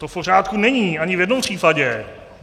To v pořádku není ani v jednom případě.